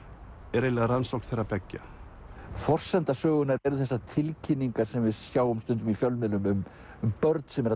er eiginlega rannsókn þeirra beggja forsenda sögunnar eru þessar tilkynningar sem við sjáum stundum í fjölmiðlum um börn sem eru